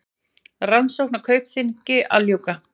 Rannsókn á Kaupþingi að ljúka